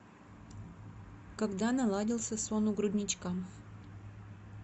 когда наладился сон у грудничка